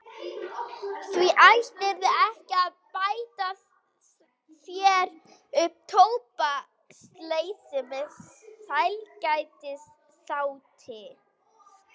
Því ættirðu ekki að bæta þér upp tóbaksleysið með sælgætisáti.